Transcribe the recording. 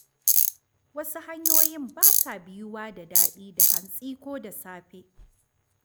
Wasu hanyoyin ba sa biyuwa ta daɗi da hantsi ko da safe.